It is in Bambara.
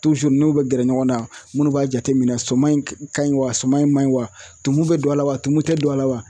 tuzuri u n'u be gɛrɛ ɲɔgɔn na munnu b'a jateminɛ suman in kaɲi wa saman in manɲi wa tumu be don a la wa tumun tɛ don a la wa